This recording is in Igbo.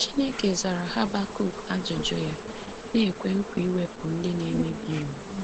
Chineke zara Habakuk ajụjụ ya, na-ekwe nkwa iwepụ “ndị na-emebi iwu.”